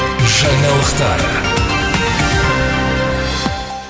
жаңалықтар